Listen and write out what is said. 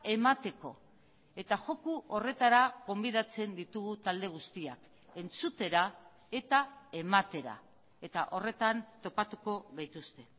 emateko eta joko horretara gonbidatzen ditugu talde guztiak entzutera eta ematera eta horretan topatuko gaituzte